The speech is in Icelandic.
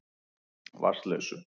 Vatnsleysu